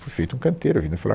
Foi feito um canteiro ali na